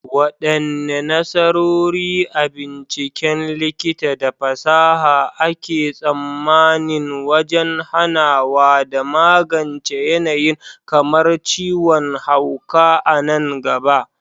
Wadanne nasarori a binciken likita da fasaha ake tsammanin wajen hanawa da magance yanayi kamar ciwon hauka a nan gaba?